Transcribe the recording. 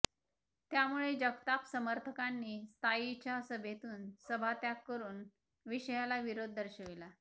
त्यामुळे जगताप समर्थकांनी स्थायीच्या सभेतून सभात्याग करुन विषयाला विरोध दर्शविला